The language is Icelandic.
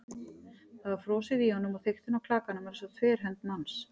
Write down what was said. Það var frosið í honum- og þykktin á klakanum var eins og þverhönd manns.